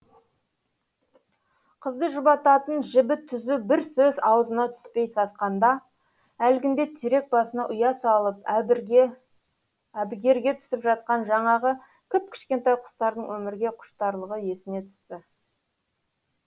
қызды жұбататын жібі түзу бір сөз аузына түспей сасқанда әлгінде терек басына ұя салып әбігерге түсіп жатқан жаңағы кіп кішкентай құстардың өмірге құштарлығы есіне түсті